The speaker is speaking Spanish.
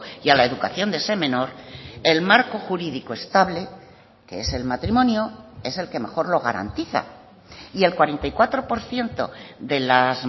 y a la educación de ese menor el marco jurídico estable que es el matrimonio es el que mejor lo garantiza y el cuarenta y cuatro por ciento de las